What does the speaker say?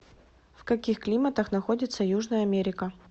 в каких климатах находится южная америка